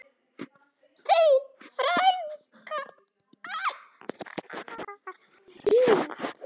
Þín frænka, Ólöf.